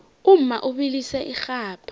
umma ubilisa irhabha